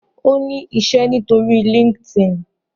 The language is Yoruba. O ni iṣẹ nitori Linkedin